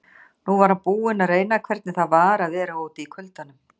Nú var hann búinn að reyna hvernig það var að vera úti í kuldanum.